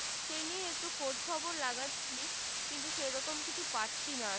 সে নিয়ে একটু খোজ খবর লাগাচ্ছি কিন্তু সে রকম কিছু পাচ্ছি না